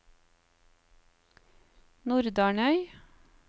Nordarnøy